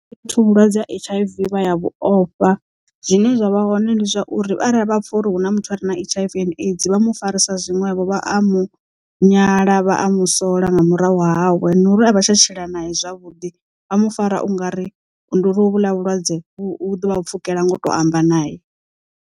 Vhathu vhulwadze ha H_I_V vha ya vhu ofha zwine zwavha hone ndi zwauri arali vha pfha uri hu na muthu a re na H_I_V and AIDS vha mu farisiwa zwinwevho vha a mu nyala vha a mu sola nga murahu hawe no uri a vha tsha tshila naye zwavhuḓi vha mu fara ungari ndi uri ho vhuḽa vhulwadze vhu ḓovha pfukela ngo to amba naye.